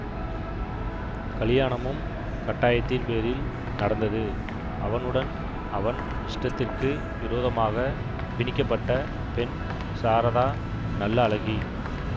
கலியாணமும் கட்டாயத்தின் பேரில் நடந்தது அவனுடன் அவன் இஷ்டத்திற்கு விரோதமாகப் பிணிக்கப்பட்ட பெண் சாரதா நல்ல அழகி